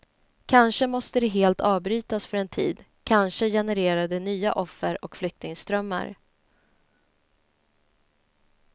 Kanske måste det helt avbrytas för en tid, kanske genererar det nya offer och flyktingströmmar.